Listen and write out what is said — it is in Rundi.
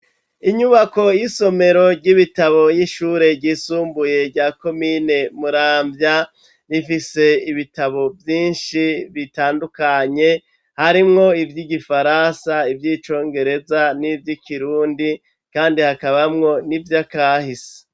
Inyubako y'isomero ry'Ibitabo y'ishure ryisumbuye rya komine Muramvya, rifise ibitabo vyinshi bitandukanye, harimwo ivy'Igifaransa, ivy'icongereza, n'ivy'ikirundi, kandi hakabamwo n'ivyakahise.